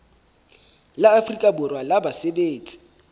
la afrika borwa la basebetsi